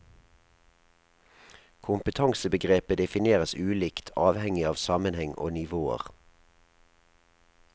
Kompetansebegrepet defineres ulikt, avhengig av sammenheng og nivåer.